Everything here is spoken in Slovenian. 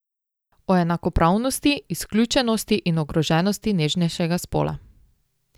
O enakopravnosti, izključenosti in ogroženosti nežnejšega spola.